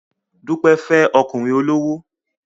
Dúpẹ́ fẹ́ ọkùnrin olówó